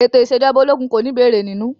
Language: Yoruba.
Ètò ìṣèjọba ológun kò ní ìbéèrè nínú.